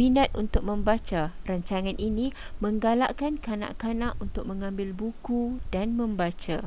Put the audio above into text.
minat untuk membaca - [rancangan ini] menggalakkan kanak-kanak untuk mengambil buku dan membaca.